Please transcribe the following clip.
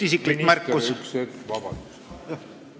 Austatud minister, üks hetk, vabandust!